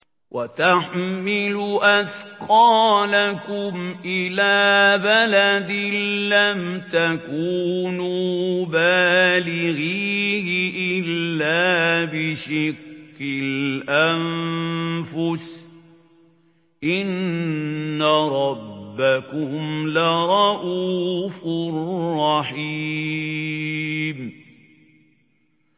وَتَحْمِلُ أَثْقَالَكُمْ إِلَىٰ بَلَدٍ لَّمْ تَكُونُوا بَالِغِيهِ إِلَّا بِشِقِّ الْأَنفُسِ ۚ إِنَّ رَبَّكُمْ لَرَءُوفٌ رَّحِيمٌ